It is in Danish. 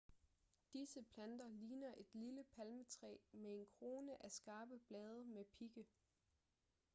disse planter ligner et lille palmetræ med en krone af skarpe blade med pigge